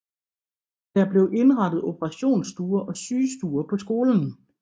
Der blev indrettet operationsstuer og sygestuer på skolen